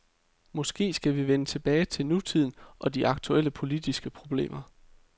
Måske skal vi vende tilbage til nutiden og de aktuelle politiske problemer.